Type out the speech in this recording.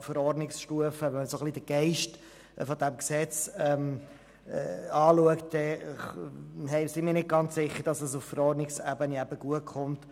Wenn man den Geist dieses Gesetzes betrachtet, sind wir nicht ganz sicher, dass es auf Verordnungsstufe gut kommt.